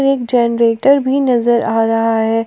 एक जनरेटर भी नजर आ रहा है।